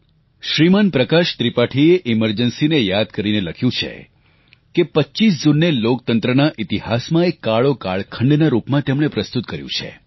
શ્રીમાન પ્રકાશ ત્રિપાઠીએ કટોકટીને યાદ કરીને લખ્યું છે કે 25 જૂનને લોકતંત્રના ઈતિહાસમાં એક કાળો કાળખંડના રૂપમાં તેમણે પ્રસ્તુત કર્યું છે